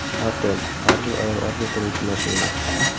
Artel: Har bir ayol orzu qiluvchi mashina.